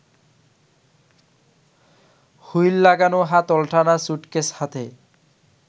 wheel লাগানো হাতলটানা suitcase হাতে